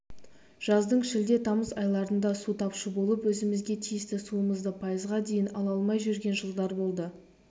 жаздың шілде-тамыз айларында су тапшы болып өзімізге тиісті суымызды пайызға дейін ала алмай жүрген жылдар болды